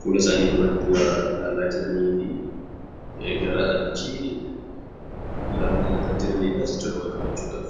fuula isaanii duratti waa ilaalaa jiranii fi gara achii ilaallataa jiran waa qabachuudhaaf.